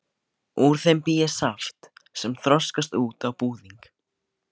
Úr þeim bý ég saft sem þroskast út á búðing.